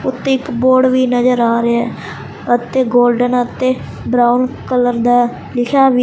ਉੱਤੇ ਇੱਕ ਬੋਰਡ ਵੀ ਨਜ਼ਰ ਆ ਰਿਹਾ ਅਤੇ ਗੋਲਡਨ ਅਤੇ ਬਰਾਉਨ ਕਲਰ ਦਾ ਲਿਖਿਆ ਵੀ --